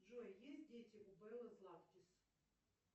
джой есть дети у беллы златкис